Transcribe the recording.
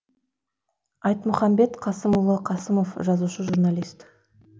айтмұхамбет қасымұлы қасымов жазушы журналист